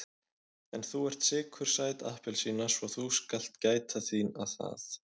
En þú ert sykursæt appelsína svo þú skalt gæta þín að það.